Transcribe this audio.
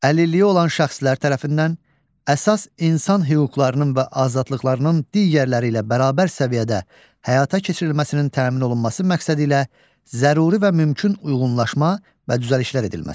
Əlilliyi olan şəxslər tərəfindən əsas insan hüquqlarının və azadlıqlarının digərləri ilə bərabər səviyyədə həyata keçirilməsinin təmin olunması məqsədilə zəruri və mümkün uyğunlaşma və düzəlişlər edilməsi.